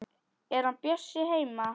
Er hann Bjössi heima?